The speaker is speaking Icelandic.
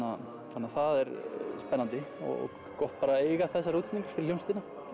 þannig að það er spennandi og gott bara að eiga þessar útsetningar fyrir hljómsveitina